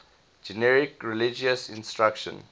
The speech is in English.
generic religious instruction